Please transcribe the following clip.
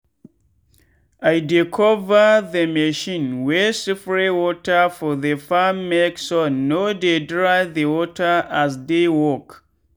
i dey cover the machine wey spray water for the farmmake sun no dey dry the water as e dey work.